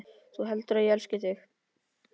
Þú heldur að ég elski þig?